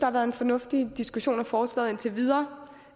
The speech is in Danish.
har været en fornuftig diskussion af forslaget indtil videre